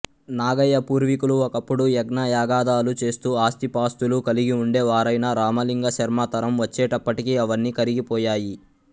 నాగయ్య పూర్వీకులు ఒకప్పుడు యజ్ఞయాగాదులు చేస్తూ ఆస్తిపాస్తులు కలిగిఉండేవారైనా రామలింగ శర్మ తరం వచ్చేటప్పటికి అవన్నీ కరిగిపోయాయి